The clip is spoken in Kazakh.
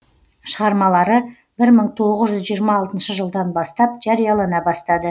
шығармалары бір мың тоғыз жүз жиырма алтыншы жылдан бастап жариялана бастады